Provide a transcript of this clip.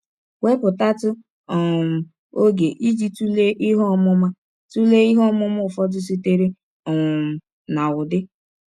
Wepụtatụ um ọge iji tụlee ihe ọmụma tụlee ihe ọmụma ụfọdụ sitere um na Udi.